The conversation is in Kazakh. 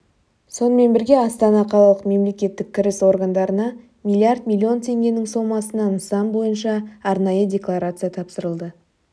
сонымен бірге астана қалалық мемлекеттік кіріс органдарына миллиард миллион теңгенің сомасына нысан бойынша арнайы декларация тапсырылды